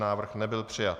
Návrh nebyl přijat.